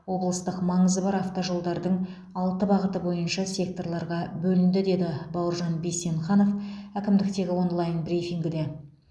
облыстық маңызы бар автожолдардың алты бағыты бойынша секторларға бөлінді деді бауыржан бейсенқанов әкімдіктегі онлайн брифингіде